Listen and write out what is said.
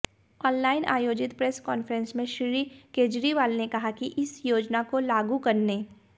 online आयोजित press conference में श्री केजरीवाल ने कहा कि इस योजना को लागू करने